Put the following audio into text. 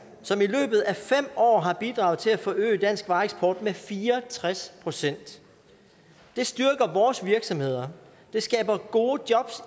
som i løbet af fem år har bidraget til at forøge danske vareeksport med fire og tres procent det styrker vores virksomheder det skaber gode jobs